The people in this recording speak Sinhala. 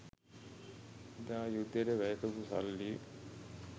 එදා යුද්ධයට වැය කරපු සල්ලි